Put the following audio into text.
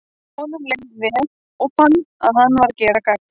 Honum leið leið vel, og fann að hann var að gera gagn.